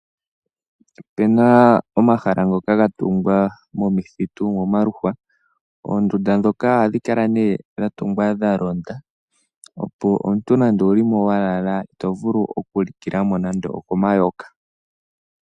Ope na omahala ngoka ga tungwa momithitu momaluhwa. Oondunda ndhoka ohadhi kala nee dha tungwa dha londa, opo omuntu nande owu li mo wa lala ito vulu okulikila mo nando okomayoka.